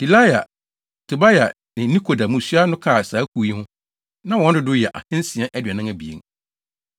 Delaia, Tobia ne Nekoda mmusua no ka saa kuw yi ho, na wɔn dodow yɛ 2 642